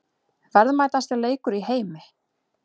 Verðmætasti leikur í heimi